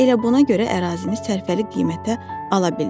Elə buna görə ərazini sərfəli qiymətə ala bildik.